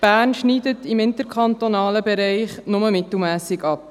Bern schneidet im interkantonalen Vergleich mittelmässig ab.